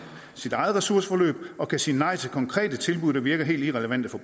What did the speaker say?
ressourceforløb og kan sige nej til konkrete tilbud der virker helt irrelevante for